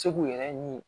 Se k'u yɛrɛ ɲini